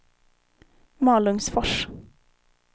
Malungsfors